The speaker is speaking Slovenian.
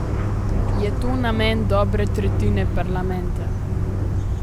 Je to namen dobre tretjine parlamenta?